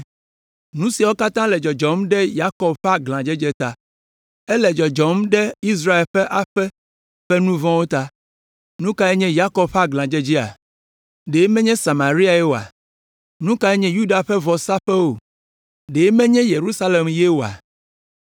Nu siawo katã le dzɔdzɔm ɖe Yakob ƒe aglãdzedze ta, ele dzɔdzɔm ɖe Israel ƒe aƒe ƒe nu vɔ̃wo ta. Nu kae nye Yakob ƒe aglãdzedzea? Ɖe menye Samariae oa? Nu kae nye Yuda ƒe vɔsaƒewo? Ɖe menye Yerusalem ye oa?